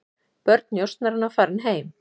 Börn njósnaranna farin heim